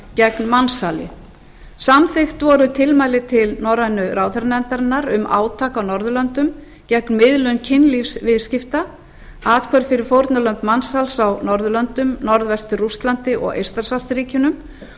gegn mansali samþykkt voru tilmæli til norrænu ráðherranefndarinnar um átak á norðurlöndum gegn miðlun kynlífsviðskipta athvörf fyrir fórnarlömb mansals á norðurlöndum norðvestur rússlandi og eystrasaltsríkjunum